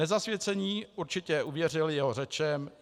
Nezasvěcení určitě uvěřili jeho řečem.